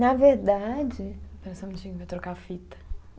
Na verdade. Espera só um minutinho, vai trocar a fita.